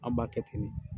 An b'a kɛ ten de